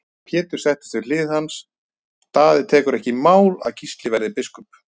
Pétur settist við hlið hans:-Daði tekur ekki í mál að Gísli verði biskup.